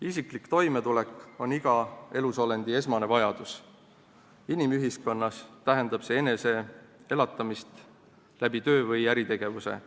Isiklik toimetulek on iga elusolendi esmane vajadus, inimühiskonnas tähendab see enese elatamist töö või äritegevuse kaudu.